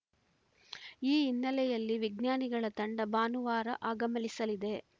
ಈ ಹಿನ್ನೆಲೆಯಲ್ಲಿ ವಿಜ್ಞಾನಿಗಳ ತಂಡ ಭಾನುವಾರ ಆಗಮಲಿಸದೆ